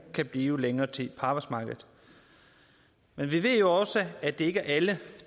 kan blive længere tid på arbejdsmarkedet men vi ved jo også at det ikke er alle